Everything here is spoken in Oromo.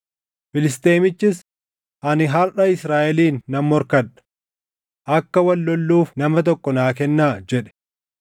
Filisxeemichis, “Ani harʼa Israaʼeliin nan morkadha! Akka wal lolluuf nama tokko naa kennaa” jedhe.